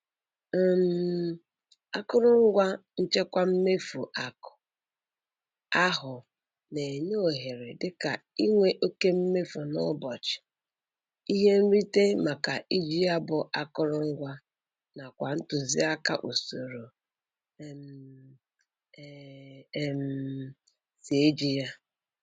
um Akụrụngwa nchekwa mmefu akụ ahụ na-enye ohere dịka inwe oke mmefu n'ụbọchị, ihe nrite maka iji ya bụ akụrụngwa nakwa ntụziaka usoro um e um si eji ya